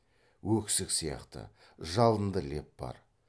өксік сияқты жалынды леп бар